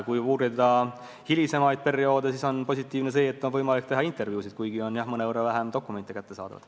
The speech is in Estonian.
Kui guugelda hilisemaid perioode, siis on positiivne see, et on võimalik teha intervjuusid, kuigi on mõnevõrra vähem dokumente kättesaadavad.